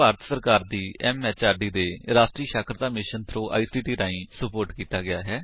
ਇਹ ਭਾਰਤ ਸਰਕਾਰ ਦੀ ਐਮਐਚਆਰਡੀ ਦੇ ਰਾਸ਼ਟਰੀ ਸਾਖਰਤਾ ਮਿਸ਼ਨ ਥ੍ਰੋ ਆਈਸੀਟੀ ਰਾਹੀਂ ਸੁਪੋਰਟ ਕੀਤਾ ਗਿਆ ਹੈ